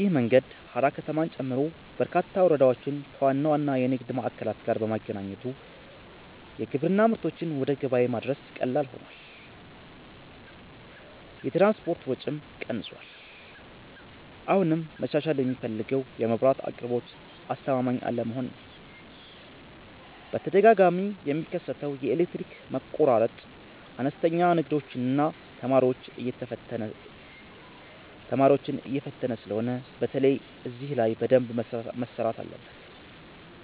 ይህ መንገድ ሃራ ከተማን ጨምሮ በርካታ ወረዳዎችን ከዋና ዋና የንግድ ማዕከላት ጋር በማገናኘቱ የግብርና ምርቶችን ወደ ገበያ ማድረስ ቀላል ሆኗል፤ የትራንስፖርት ወጪም ቀንሷል። አሁንም መሻሻል የሚፈልገው የመብራት አቅርቦት አስተማማኝ አለመሆን ነው፤ በተደጋጋሚ የሚከሰተው የኤሌክትሪክ መቆራረጥ አነስተኛ ንግዶችንና ተማሪዎችን እየፈተነ ስለሆነ በተለይ እዚህ ላይ በደንብ መሰራት አለበት።